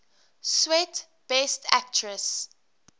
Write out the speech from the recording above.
swet best actress